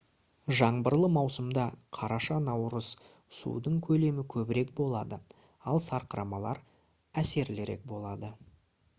жаңбырлы маусымда қараша-наурыз судың көлемі көбірек болады ал сарқырамалар әсерлірек болады